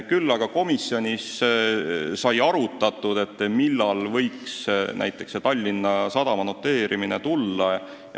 Küll aga sai komisjonis tõesti arutatud, millal võiks Tallinna Sadama noteerimine tulla.